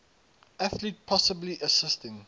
athlete possibly assisting